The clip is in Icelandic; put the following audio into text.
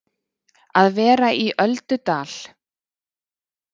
Að vera í öldudal